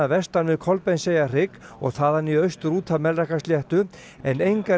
vestan við Kolbeinseyjarhrygg og þaðan í austur út af Melrakkasléttu en engar